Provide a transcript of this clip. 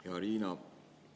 Hea Riina!